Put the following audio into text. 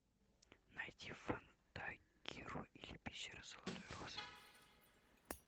найди фантагиро или пещера золотой розы